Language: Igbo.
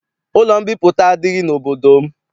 Ụlọ mbipụta adịghị n'obodo m.